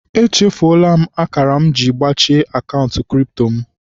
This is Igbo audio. Echufuola akara m ji gbachie akaụntụ kripto m.